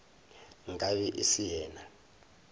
nka be e se yena